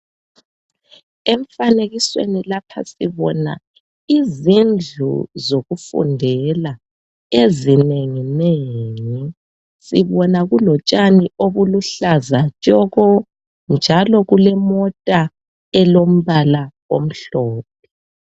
Emfanekisweni lapha sibona izindlu zokufundela ezinenginengi. Sibona kulotshani obuluhlaza tshoko njalo kulemota elombala omhlophe.